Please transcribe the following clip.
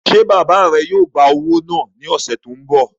Ṣé bàbá rẹ yóò gbá owó náà ní ọ̀sẹ̀ tó n bọ̀?